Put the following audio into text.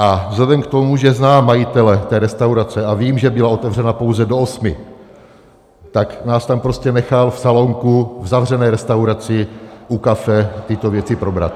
A vzhledem k tomu, že znám majitele té restaurace a vím, že byla otevřena pouze do osmi, tak nás tam prostě nechal v salonku v zavřené restauraci u kafe tyto věci probrat.